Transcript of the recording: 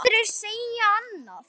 Aðrir segja annað.